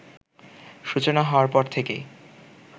সূচনা হওয়ার পর থেকেই